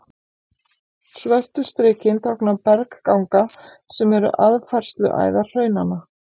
Svörtu strikin tákna bergganga, sem eru aðfærsluæðar hraunanna.